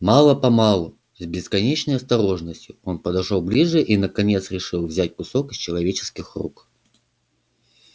мало помалу с бесконечной осторожностью он подошёл ближе и наконец решился взять кусок из человеческих рук